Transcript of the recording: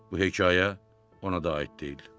Bu hekayə ona da aid deyildi.